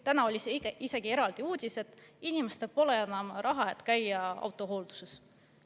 Täna oli isegi uudis, et inimestel pole enam raha, et käia autohoolduses.